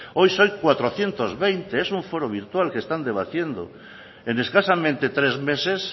hoy son cuatrocientos veinte es un foro virtual que están debatiendo en escasamente tres meses